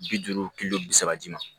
Bi duuru kilo bi saba ji ma